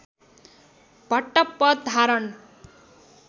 भट्ट पद धारण